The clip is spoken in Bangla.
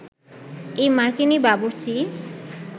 এই মার্কিনি বাবুর্চি